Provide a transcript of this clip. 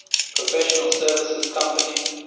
professional services company